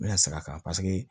N bɛna segin a kan paseke